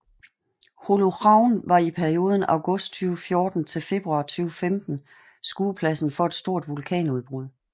Holuhraun var i perioden august 2014 til februar 2015 skuepladsen for et stort vulkanudbrud